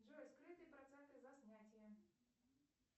джой скрытые проценты за снятие